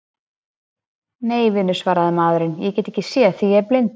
Nei, vinur, svaraði maðurinn, ég get ekki séð því ég er blindur.